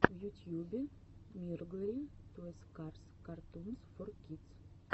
в ютьюбе мирглори тойс карс картунс фор кидс